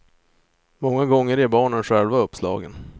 Många gånger ger barnen själva uppslagen.